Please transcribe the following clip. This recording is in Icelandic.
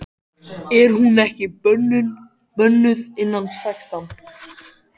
Er hún ekki bönnuð innan sextán?